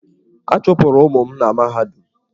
A chụpụrụ ụmụ m na mahadum.